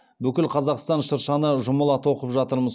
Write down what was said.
бүкіл қазақстан шыршаны жұмыла тоқып жатырмыз